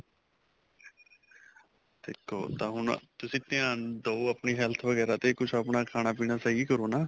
ਦੇਖੋ ਤਾਂ ਹੁਣ ਤੁਸੀ ਧਿਆਨ ਦਿਓ ਆਪਣੀ health ਵਗੈਰਾ ਤੇ ਕੁੱਛ ਆਪਣਾ ਖਾਣਾ ਪੀਣਾ ਸਹੀ ਕਰੋ ਨਾ